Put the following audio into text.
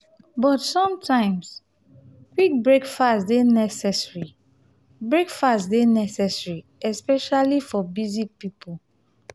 but sometimes quick breakfast dey necessary breakfast dey necessary especially for busy people.